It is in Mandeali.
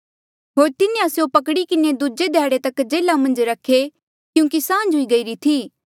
होर तिन्हें स्यों पकड़ी किन्हें दूजे ध्याड़े तक जेल्हा मन्झ रखे क्यूंकि सांझ हुई गयीरी थी